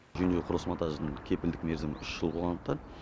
жөндеу құрылыс монтажының кепілдік мерзімі үш жыл болғандықтан